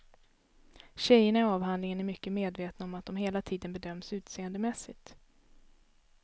Tjejerna i avhandlingen är mycket medvetna om att de hela tiden bedöms utseendemässigt.